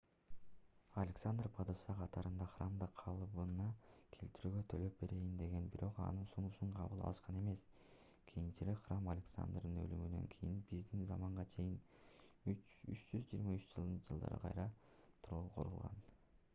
александр падыша катарында храмды калыбына келтирүүгө төлөп берейин деген бирок анын сунушун кабыл алышкан эмес кийинчерээк храм александрдын өлүмүнөн кийин биздин заманга чейин 323-жылдары кайра курулган